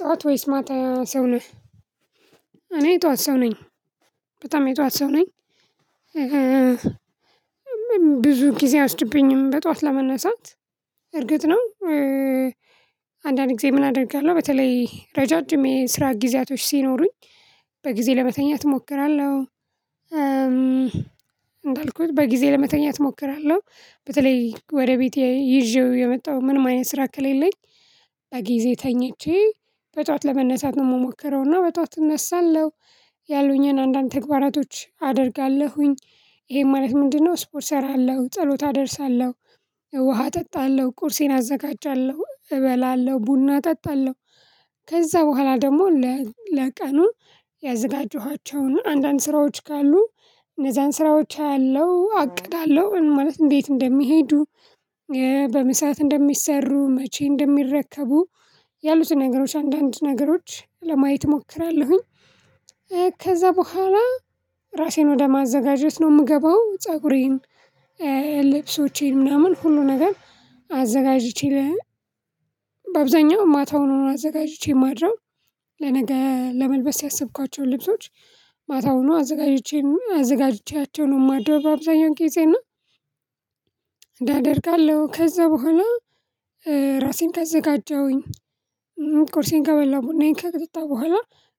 ጥዋት ወይስ ማታ ሰው ነህ? እኔ ጥዋት ሰው ነኝ። በጣም የጥዋት ሰው ነኝ። ብዙ ጊዜ አይወስድብኝምድ በጧት ለመነሳት እርግጥ ነው። አንዳንድ ጊዜ ምን አደርጋለሁ በተለይ ረዣዥም የስራ ጊዜያቶች ሲኖሩኝ በጊዜ ለመተኛት እሞክራለሁ። እንዳልኩት በጊዜ ለመተኛት እሞክራለሁ በተለይ ወደ ቤቴ ይዤው የመጣው ምንም አይነት ስራ ከሌለኝ በጊዜ ተኝቼ በጧት ለመነሳት ነው እምሞከረው እና በጧት እነሳለሁ። ያሉኝን አንዳንድ ተግባራቶች አደርጋለሁኝ ይሄ ማለት ምንድነው ስፖርት እሰራለሁ ጸሎት አደርሳለሁ ውሃ እጠጣለሁ ቁርሴን አዘጋጃለሁ እበላለሁ ቡና እጠጣለሁ። ከዛ ቡሃላ ደግሞ ለቀኑ ያዘጋጀኋቸውን አንዳንድ ስራዎች ካሉ እነዛን ስራዎች አያለሁ አቅዳለሁ ማለት እንዴት እንደሚሄዱ በምን ሰዓት እንደሚሰሩ መቼ እንደሚረከቡ ያሉት ነገሮች አንዳንድ ነገሮች ለማየት እሞክራለሁኝ። ከዛ በኋላ ራሴን ወደ ማዘጋጀት ነው እምገባው ፀጉሬን ልብሶቼን ምናምን ሁሉ ነገር አዘጋጅቼ በአብዛኛው ማታውን አዘጋጅቼ ነው ማድረው። ለነገ ለመልበስ ያሰብኳቸው ልብሶች ማታውኑ አዘጋጅቼም አዘጋጅቼያቸው ነው እማድረው አብዛኛውን ጊዜና እያደርጋለሁ ከዛ በኋላ ራሴን ከዘጋጀሁኝ ቁርሴን ከበላሁ ቡናዬን ከቅጥታ ቡሃላ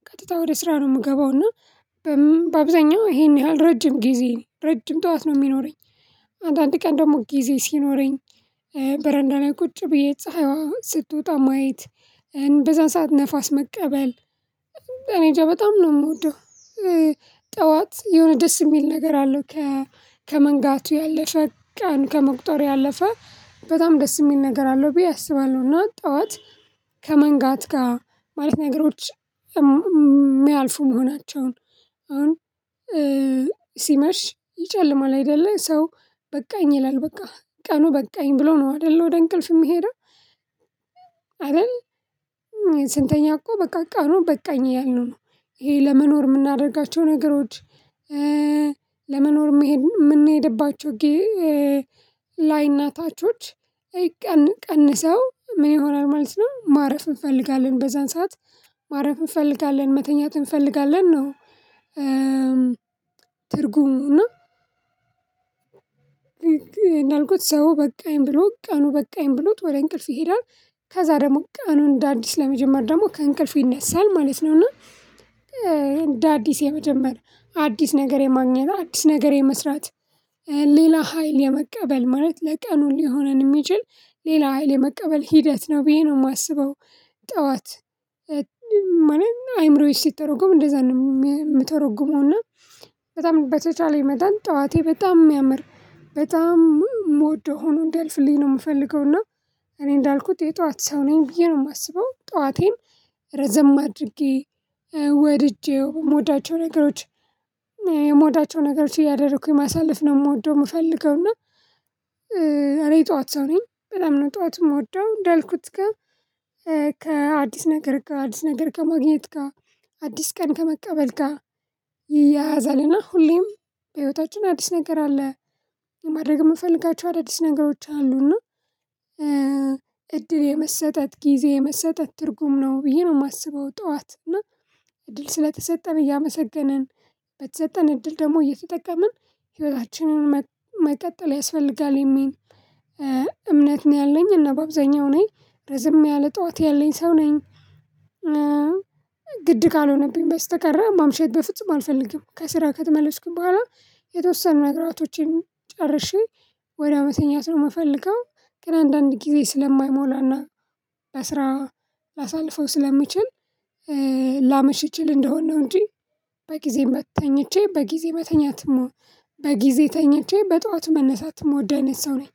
ቀጥታ ወደ ስራ ነው እምገባው እና በአብዛኛው ይሄን ያህል ረጅም ጊዜ ረጅም ጥዋት ነው እሚኖረኝ። አንዳንድ ቀን ደሞ ጊዜ ሲኖረኝ በረንዳ ላይ ቁጭ ብዬ ፀሐዩዋ ስትወጣ ማየት በዛን ሰዓት ነፋስ መቀበል እኔ እንጃ በጣም ነው እምወደው። ጥዋት የሆነ ደስ እሚል ነገር አለው። ከመንጋቱ ያለፈ ቀን ከመቁጠሩ ያለፈ በጣም ደስ እሚል ነገር አለው ብዬ አስባለሁና ጥዋት ከመንጋት ጋር ማለት ነገሮች እሚያልፉ መሆናቸውን አሁን ሲመሽ ይጨልማል አይደለ ሰው በቃኝ ይላል በቃ ቀኑ በቃኝ ብሎ ነው አይደል ወደ እንቅልፍ የምሄደው። አይደል ስንተኛ እኮ በቃ ቀኑን በቃኝ እያልነው ነው። ይሄ ለመኖር እምናደርጋቸው ነገሮች ለመኖር እምንሄድባቸው ላይ እና ታቾች ቀንሰው ምን ይሆናል ማለት ነው ማረፍ እንፈልጋለን በዛን ሰዓት ማረፍ እንፈልጋለን መተኛት እንፈልጋለን ነው። ትርጉሙ እና እኔ እንዳልኩት ሰው በቃኝ ብሎ ቀኑ በቃኝ ብሎት ወደ እንቅልፍ ይሄዳል። ከዛ ደግሞ ቀኑን እንደ አዲስ ለመጀመር ደሞ ከእንቅልፉ ይነሳል ማለት ነው። እና እንደ አዲስ የመጀመሪያ አዲስ ነገር የማግኘት አዲስ ነገር የመስራት ሌላ ሀይል የመቀበል ማለት ለቀኑ ሊሆነን እሚችል ሌላ ሀይል የመቀበል ሂደት ነው ብዬ ነው እማስበው። ጥዋት ማለት አይምሮዬ ሲተረጎም እንደዛ ነው እምተረጉመውና በጣም በተቻለኝ መጠን ጠዋቴ በጣም እሚያምር በጣም እምወደው ሆኖ እንዲያልፍልኝ ነው እምፈልገው እና። እኔ እንዳልኩት የጥዋት ሰው ነኝ ብዬ ነው እማስበው ጥዋቴን ረዘም አድርጌ ወድጄው እምወዳቸው ነገሮች የምወዳቸው ነገሮች እያደረኩኝ ማሳለፍ ነው እምወደው እምፈልገው እና። እኔ የጥዋት ሰው ነኝ በጣም ነው ጥዋትን እምወደው እንዳልኩት ግን ከአዲስ ነገር ጋ አዲስ ነገር ከማግኘት ጋ አዲስ ቀን ከመቀበል ጋ ይያያዛል እና ሁሌም በህይወታችን አዲስ ነገር አለ የማድረግ እምፈልጋቸው አዲስ ነገሮች አሉና። እድል የመሰጠት ጊዜ የመሰጠት ትርጉም ነው ብዬ ነው እማስበው ጥዋት እና እድል ስለተሰጠን እያመሰገንን በተሰጠን እድል ደሞ እየተጠቀምን ህይወታችንን መቀጠል ያስፈልጋል የሚል እምነት ነው ያለኝ እና በአብዛኛው እኔ ረዘም ያለኝ ጥዋት ያለኝ ሰው ነኝ። ግድ ካልሆነብኝ በስተቀር ማምሸት በፍጹም አልፈልግም ከስራ ከተመለስኩኝ ቡሃላ የተወሰኑ ነገሮችን ጨርሼ ወዳው መተኛት ነው እምፈለገው። ግን አንዳንድ ጊዜ ስለማይሞላና ለስራ ላሳልፈው ስለምችል ላመሽ እችል እንደሆን ነው እንጂ በጊዜ ተኝቼ በጊዜ በተኛት በጊዜ ተኝቼ በጧት መነሳትም እምወድ አይነት ሰው ነኝ።